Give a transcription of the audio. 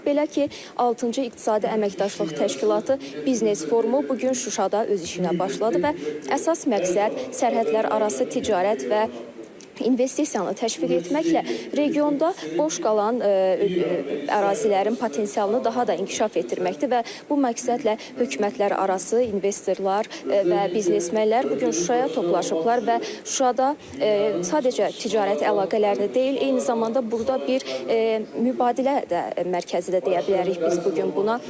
Belə ki, altıncı İqtisadi Əməkdaşlıq Təşkilatı Biznes Forumu bu gün Şuşada öz işinə başladı və əsas məqsəd sərhədlərarası ticarət və investisiyanı təşviq etməklə regionda boş qalan ərazilərin potensialını daha da inkişaf etdirməkdir və bu məqsədlə hökumətlərarası investorlar və biznesmenlər bu gün Şuşaya toplaşıblar və Şuşada sadəcə ticarət əlaqələrini deyil, eyni zamanda burda bir mübadilə də mərkəzi də deyə bilərik biz bu gün buna.